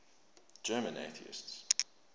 german atheists